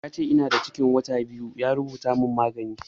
Yace ina da cikin wata biyu kuma ya rubuta min magunguna